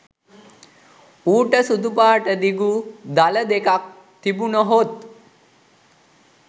ඌට සුදු පාට දිගු දළ දෙකක් තිබුණහොත්